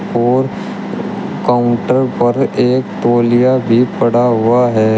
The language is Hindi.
और काउंटर पर एक तोलिया भी पड़ा हुआ है।